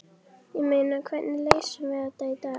Ég meina, hvernig leysum við þetta í dag?